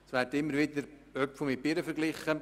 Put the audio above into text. Es werden immer wieder Äpfel mit Birnen verglichen.